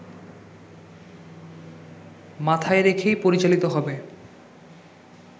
মাথায় রেখেই পরিচালিত হবে